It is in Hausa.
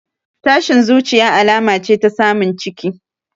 Tashin zuciya alama ce ta samun ciki